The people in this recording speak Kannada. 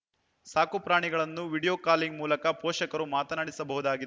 ಸಾಕುಪ್ರಾಣಿಗಳನ್ನು ವೀಡಿಯೋ ಕಾಲಿಂಗ್‌ ಮೂಲಕ ಪೋಷಕರು ಮಾತನಾಡಿಸಬಹುದಾಗಿದೆ